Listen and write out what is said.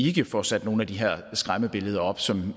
ikke får sat nogen af de her skræmmebilleder op som